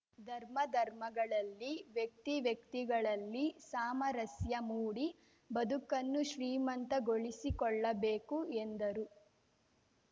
ಧರ್ಮಧರ್ಮಗಳಲ್ಲಿ ವ್ಯಕ್ತಿವ್ಯಕ್ತಿಗಳಲ್ಲಿ ಸಾಮರಸ್ಯ ಮೂಡಿ ಬದುಕನ್ನು ಶ್ರೀಮಂತ ಗೊಳಿಸಿಕೊಳ್ಳಬೇಕು ಎಂದರು